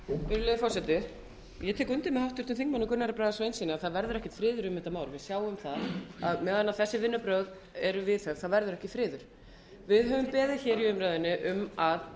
virðulegi forseti ég tek undir með háttvirtum þingmönnum gunnari braga sveinssyni að það verður ekki friður um þetta mál við sjáum að meðan þessi vinnubrögð eru viðhöfð verður ekki friður við höfum beðið í umræðunni um að